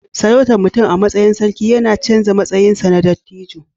Sarautar mutum a matsayin sarki yana canza matsayinsa na dattijo